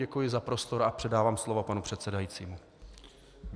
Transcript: Děkuji za prostor a předávám slovo panu předsedajícímu.